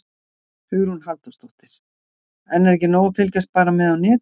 Hugrún Halldórsdóttir: En er ekki nóg að fylgjast bara með á netinu?